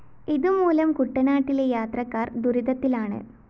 ഇതുമൂലം കുട്ടനാട്ടിലെ യാത്രക്കാര്‍ ദുരിതത്തിലാണ്